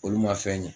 Olu ma fɛn ɲɛ